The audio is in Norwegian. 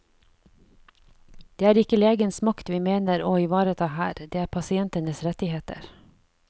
Det er ikke legens makt vi mener å ivareta her, det er pasientenes rettigheter.